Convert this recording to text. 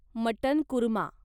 mutton korma